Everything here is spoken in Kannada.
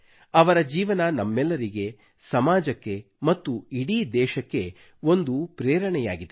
ಅವರ ಜೀವನ ನಮ್ಮೆಲ್ಲರಿಗೆ ಸಮಾಜಕ್ಕೆ ಮತ್ತು ಇಡೀ ದೇಶಕ್ಕೆ ಒಂದು ಪ್ರೇರಣೆಯಾಗಿದೆ